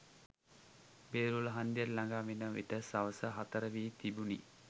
බේරුවල හංදියට ලඟාවන විට සවස හතර වී තිබුණි.